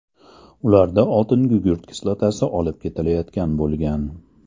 Ularda oltingugurt kislotasi olib ketilayotgan bo‘lgan.